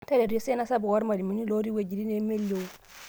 Taretu esiana sapuk oormalimuni looti wejitin nemelio.